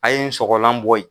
A'ye n sɔgɔlan bɔ yen